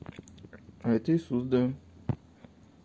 это иисус да